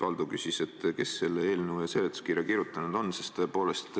Valdo küsis, kes selle eelnõu seletuskirja kirjutanud on.